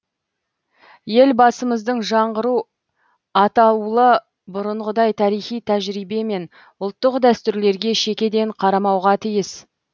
елбасымыздың жаңғыру атаулы бұрынғыдай тарихи тәжірибе мен ұлттық дәстүрлерге шекеден қарамауға тиіс